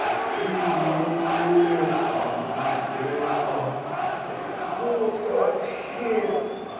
какие у меня эмоции ебать концовка вообще